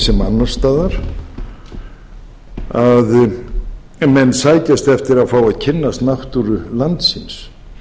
sem annars staðar að menn sækjast eftir að fá að kynnast náttúru landsins